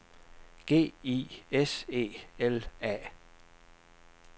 G I S E L A